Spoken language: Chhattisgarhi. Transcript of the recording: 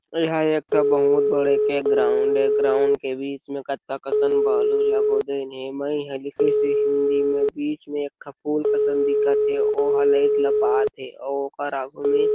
यहाँ एक ठो बहुत बड़े के ग्राउंड है ग्राउंड के बीच में से हिंदी में भी बीच एक ठो और ओकर आगू में --